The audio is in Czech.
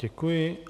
Děkuji.